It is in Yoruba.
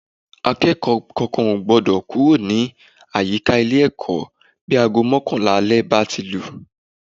Akẹ́kọ̀ọ́ kankan ò gbọ́dọ̀ kúrò ní àyíká ilé-ẹ̀kọ́ bí aago mọ́kànlá alẹ́ bá ti lù